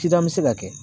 Cida bɛ se ka kɛ